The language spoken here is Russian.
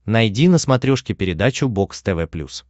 найди на смотрешке передачу бокс тв плюс